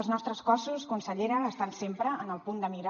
els nostres cossos consellera estan sempre en el punt de mira